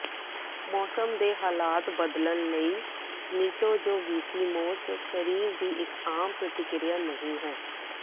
ਮੌਸਮ ਦੇ ਹਾਲਾਤ ਬਦਲਣ ਲਈ ਮੀਟੋਜੋਵਿਸੀਮੋਸਟ ਸਰੀਰ ਦੀ ਇਕ ਆਮ ਪ੍ਰਤਿਕ੍ਰਿਆ ਨਹੀਂ ਹੈ